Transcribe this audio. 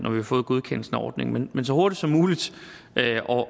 har fået godkendelsen af ordningen men så hurtigt som muligt